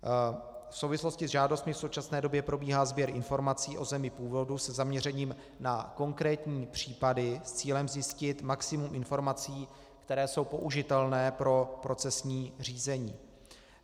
V souvislosti s žádostmi v současné době probíhá sběr informací o zemi původu se zaměřením na konkrétní případy s cílem zjistit maximum informací, které jsou použitelné pro procesní řízení.